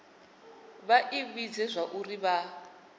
vha i vhudze zwauri vha